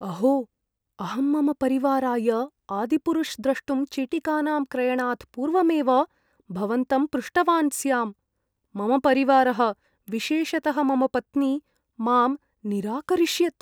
अहो! अहं मम परिवाराय "आदिपुरुष्" द्रष्टुं चीटिकानां क्रयणात् पूर्वमेव भवन्तं पृष्टवान् स्याम्। मम परिवारः, विशेषतः मम पत्नी, मां निराकरिष्यत्।